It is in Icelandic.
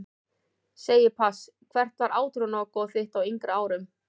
Segi pass Hvert var átrúnaðargoð þitt á yngri árum?